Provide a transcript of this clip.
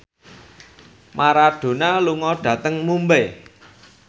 Maradona lunga dhateng Mumbai